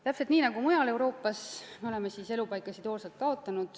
Täpselt nii nagu mujal Euroopas, oleme me ka siin Eestis elupaikasid hooga kaotanud.